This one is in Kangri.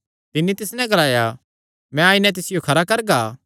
तिन्नी तिस नैं ग्लाया मैं आई नैं तिसियो खरा करगा